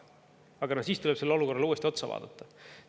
Aga no siis tuleb sellele olukorrale uuesti otsa vaadata.